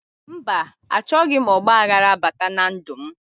Mba, achọghị m ọgbaghara bata na ndụ m